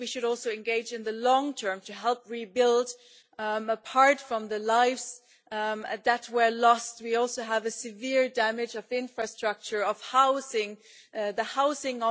I think we should also engage in the long term to help rebuild. Apart from the lives that were lost, we also have severe damage to infrastructure and housing.